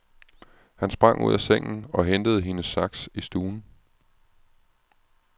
Han sprang ud af sengen og hentede hendes saks i stuen.